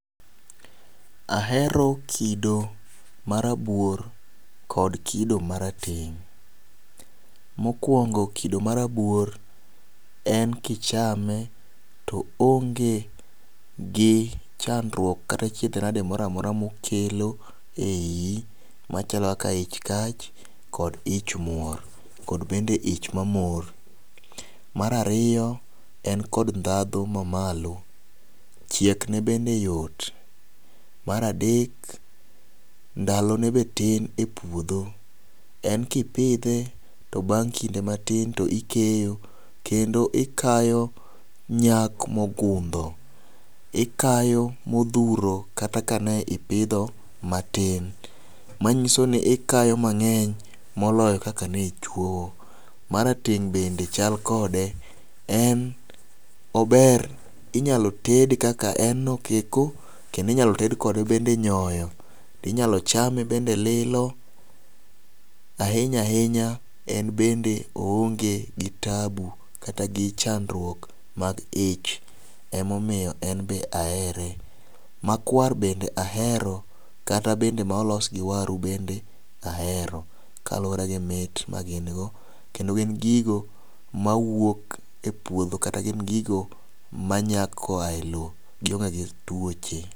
Ahero kido marabuor kod kido marateng'. Mokwongo kido marabuor en kichame to onge gi chandruok kata achiedh nade moramora mokelo e iyi machalo kaka ich kach kod ich muor kod bende ich mamor. Mar ariyo en kod ndhadhu mamalo ,chiek ne bende yot, mar adek ndalo ne be tin e puodho en kipidhe to bang' kinde matin to ikeyo kendo ikayo nyak mogundo .Ikayo modhuro kata aka ne ipidho matin .Manyiso ni ikayo mang'eny moloyo kaka ni chuoyo. Marateng' bende chal kode en ober inyalo tede kaka en no keko kendo inyalo ted kode bende nyoyo, inyalo chame bende lilo ahinya hinya en bende oonge gi taabu kata gi chandruok mag ich emomiyo en be ahere .Makwar bende ahero kata bende molos gi waru bende ahero kaluwore gi mit magin go kendo gin gigo mawuok e puodho kata gigo ma nyak koa e lowo gionge gi tuoche.